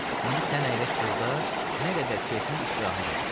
İndi sən əyləş burda, nə qədər kefin istirahət elə.